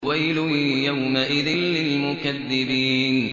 وَيْلٌ يَوْمَئِذٍ لِّلْمُكَذِّبِينَ